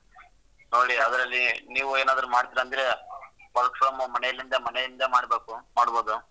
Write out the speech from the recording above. ನೋಡಿ ಅದ್ರಲ್ಲಿ ನೀವು ಏನಾದ್ರು ಮಾಡ್ತಿರಾ ಅಂದ್ರೆ work from home ಮನೆಲಿಂದ ಮನೆಯಿಂದ ಮಾಡ್ಬೇಕು ಮಾಡ್ಬೋದು.